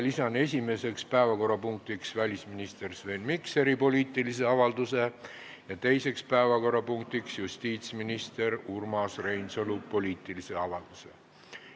Lisan esimeseks päevakorrapunktiks välisminister Sven Mikseri poliitilise avalduse ja teiseks päevakorrapunktiks justiitsminister Urmas Reinsalu poliitilise avalduse.